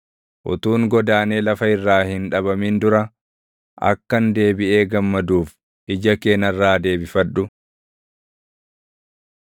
Utuun godaanee lafa irraa hin dhabamin dura akkan deebiʼee gammaduuf, ija kee narraa deebifadhu.”